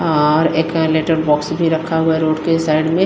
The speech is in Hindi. और एक लेटर बॉक्स भी रखा हुआ है रोड के साइड में--